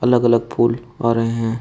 अलग अलग फूल आ रहे हैं।